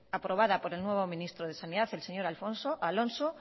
aprobada por el nuevo ministro de sanidad el señor alfonso alonso